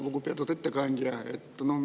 Lugupeetud ettekandja!